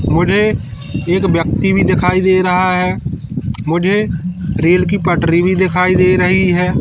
मुझे एक व्यक्ति भी दिखाई दे रहा है मुझे रेल की पटरी भी दिखाई दे रही है।